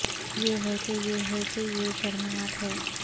یہ ہے کہ یہ ہے کہ یہ شرمناک ہے